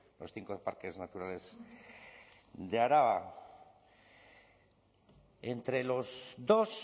los cinco parques naturales de araba entre los dos